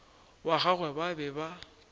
wa gagwe ba be ba